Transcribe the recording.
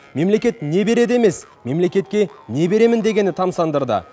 мемлекет не береді емес мемлекетке не беремін дегені тамсандырды